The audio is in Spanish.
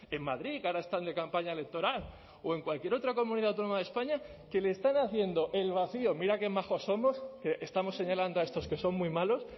en madrid que ahora están de campaña electoral o en cualquier otra comunidad autónoma de españa que le están haciendo el vacío mira qué majos somos que estamos señalando a estos que son muy malos